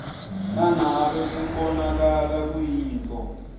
nangabe kubonakala kuyintfo